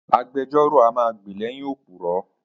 Agbejọ́rò a máa gbè lẹ́yìn òpùrọ̀.